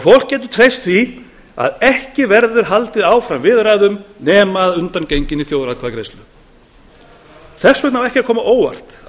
fólk getur treyst því að ekki verður haldið áfram viðræðum nema að undangenginni þjóðaratkvæðagreiðslu þess vegna á ekki að koma á óvart að